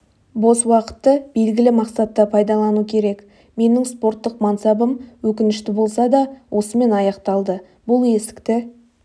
бос уақытты белгілі мақсатта пайдалану керек менің спорттық мансабым өкінішті болса да осымен аяқталды бұл есікті